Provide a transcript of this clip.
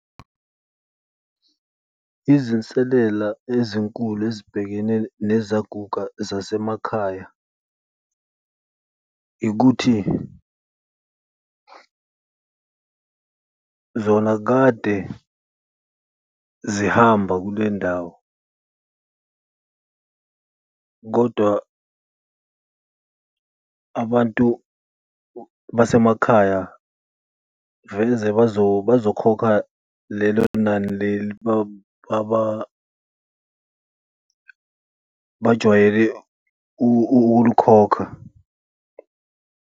Izinselela ezinkulu ezibhekene nezaguga zasemakhaya ikuthi zona kade zihamba kule ndawo kodwa abantu basemakhaya kuveze bazokhokha lelo nani leli bajwayele ukulikhokha.